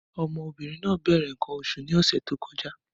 Ọmọbìnrin náà bẹ̀rẹ̀ nǹkan oṣù ní ọ̀sẹ̀ tí ó kọjá.